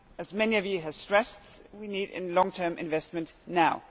As many of you have stressed, we need long-term investment now.